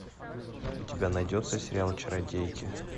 у тебя найдется сериал чародейки